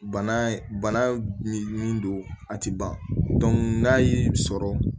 Bana bana min min don a ti ban n'a y'i sɔrɔ